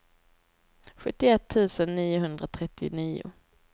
sjuttioett tusen niohundratrettionio